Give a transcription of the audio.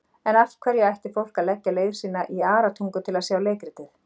En af hverju ætti fólk að leggja leið sína í Aratungu til að sjá leikritið?